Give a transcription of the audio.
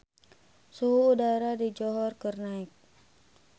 Suhu udara di Johor keur naek